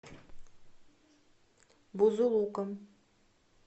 бузулуком